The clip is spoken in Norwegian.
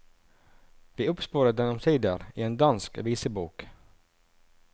Vi oppsporet den omsider i en dansk visebok.